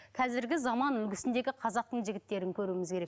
қазіргі заман үлгісіндегі қазақтың жігіттерін көруіміз керек